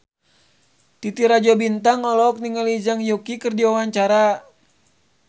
Titi Rajo Bintang olohok ningali Zhang Yuqi keur diwawancara